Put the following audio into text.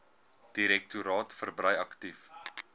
direktoraat verbrei aktief